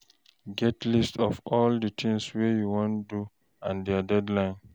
Get list of all di things wey you wan do and their deadlines